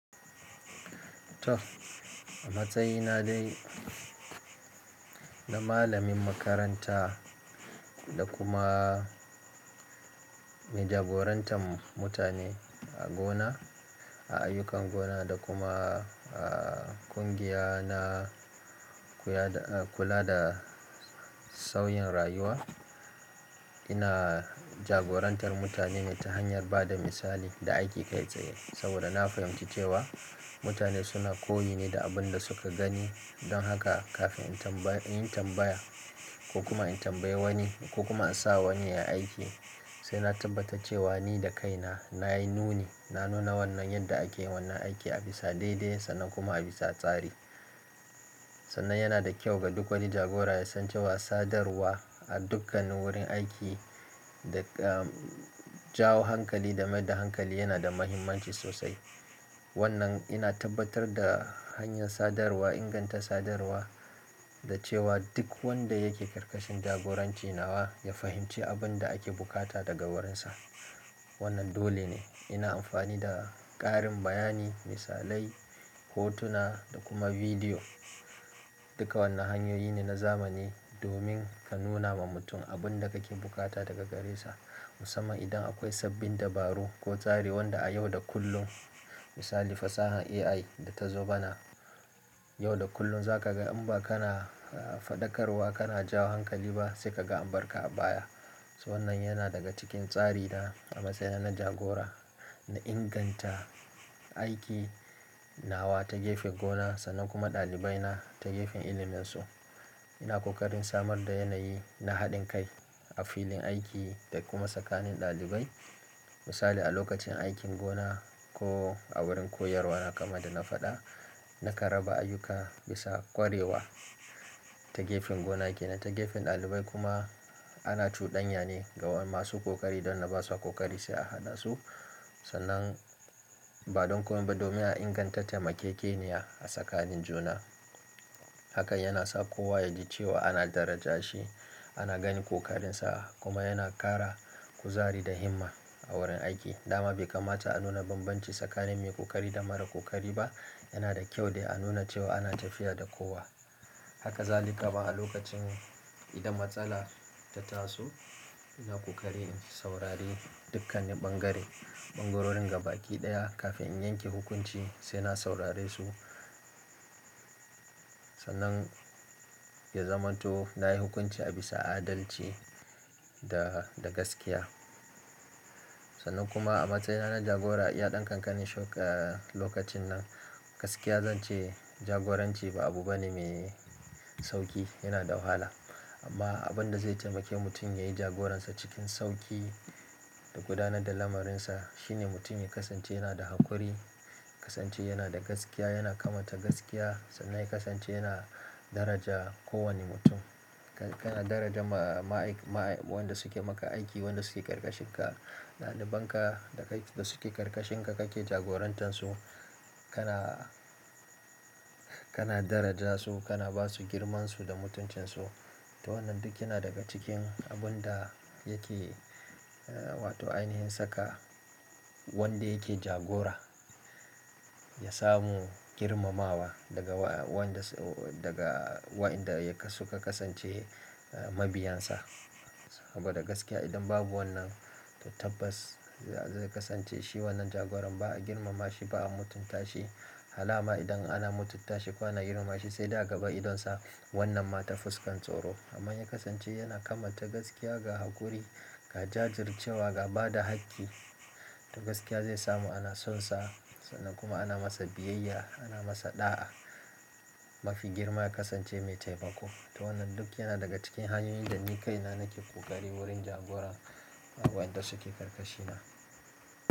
Toh, a matsayina dai na malamin makaranta da kuma mijagorantarm mutane a gona, a ayyukan gona da kuma a ƙungiya na kuya da, kula da sauyin rayuwa. Ina jagorantar mutane ne ta hanyar ba da misali da aiki kai tsaye. Saboda na fahimci cewa mutane suna koyi ne da abin da suka gani. Don haka kafin in tambayi, inyi tambaya ko kuma in tambaye wani ko kuma in sa wani ya yi aiki, sai na tabbata cewa ni da kaina nayi nuni, na nuna wannan yadda ake wannan aiki a bisa daidai sannan kuma a bisa tsari. Sannan yana da kyau ga duk wani jagora ya san cewa sadarwa a dukkanin wurin aiki da, ah, jawo hankali da maida hankali yana da muhimmanci sosai. Wannan ina tabbatar da hanyar sadarwa, inganta sadarwa da cewa duk wanda yake karkashin jagoranci nawa ya fahimci abin da ake bukata daga wurinsa. Wannan dole ne. Ina amfani da ƙarin bayani, misalai, hotuna da kuma bidiyo. Duka wannan hanyoyi ne na zamani domin ka nuna ma mutum abin da kake bukata daga gare sa. Musamman idan akwai sabbin dabaru ko tsari wanda a yau da kullum, misali fasahar AI da ta zo bana. Yau da kullum za ka ga in ba kana, ah, faɗakarwa kana jawo hankali ba sai ka ga ambar ka a baya. So wannan yana daga cikin tsari na a matsayina na jagora, na inganta aiki nawa ta gefen gona sannan kuma ɗalibai na ta gefen ilimin su. Ina ƙoƙarin samar da yanayi na haɗin kai a filin aiki da kuma tsakanin ɗalibai. Misali a lokacin aikin gona ko a wurin koyarwa kamar yanda na faɗa, na kan raba ayyuka bisa ƙwarewa ta gefen gona ke, na ta gefen ɗalibai kuma ana cuɗanya ne ga masu ƙoƙari don wanda ba su ƙoƙari sai a hana su. Sannan badon komai ba, domin a inganta taimakekeniya a tsakanin juna. Hakan yana sa kowa ya ji cewa ana daraja shi, ana gani ƙoƙarinsa kuma yana ƙara kuzari da himma a wurin aiki. Dama bai kamata a nuna banbanci tsakanin mai ƙoƙari da mara ƙoƙari ba. Yana da kyau dai a nuna cewa ana tafiya da kowa. Haka zali ka ba a lokacin idan matsala ta taso. Ina ƙoƙari in saurari dukkanne bangare, bangarorin gaba ki ɗaya kafin in yanke hukunci. Sai na saurare su. Sannan ya zamanto na yi hukunci a bisa adalci da, da gaskiya. Sannan kuma a matsayina na jagora, iya ɗan kankanin lokacin nan. Gaskiya zan ce jagoranci ba abu bane mai sauƙi, yana da wahala. Amma abin da zai taimake mutum yayi jagoransa cikin sauƙi da gudanar da lamarrinsa shine mutum ya ƙasance yana da haƙuri, ƙasance yana da gaskiya, yana kamata gaskiya sannan ya ƙasance yana daraja kowane mutum. Ka, kana daraja ma, ma, ma, wanda suke maka aiki, wanda suke karkashinka, ɗaliban ka da kai, da suke karkashinka kake jagorantansu. Kana, kana daraja su, kana ba su girmansu da mutuncinsu. To wannan duk yana daga cikin abun da yake, ah, wato ainihin saka wanda yake jagora ya samu girmamawa daga wa, wanda su, daga wayanda yake suka ƙasance, ah, mabiyansa. Saboda gaskiya idan babu wannan, tabbas zai ƙasance shi wannan jagoran ba a girmama shi ba a mutunta shi. Halaman idan ana mutunta shi koh ana girmama shi sai da gaba idonsa. Wannan ma ta fuskan tsoro. Amman ya ƙasance yana kamanta gaskiya ga haƙuri, ga jajircewa, ga ba da hakki da gaskiya zai samu ana sonsa sannan kuma ana masa biyayya, ana masa ɗa'a. Mafi girma ya ƙasance mai taimako. To wannan duk yana daga cikin hanyoyin da ni kaina nake ƙoƙari wurin jagora ga waɗanda suke karkashi na.